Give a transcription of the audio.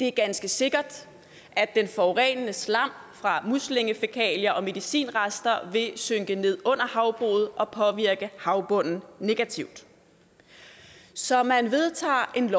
det er ganske sikkert at den forurenende slam fra muslingefækalier og medicinrester vil synke ned under havbruget og påvirke havbunden negativt så man vedtager et